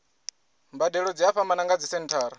mbadelo dzi a fhambana nga dzisenthara